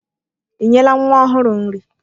Ị nyela nwa ọhụrụ nri?